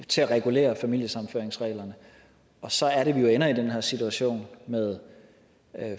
til at regulere familiesammenføringsreglerne og så er det jo at vi ender i den her situation med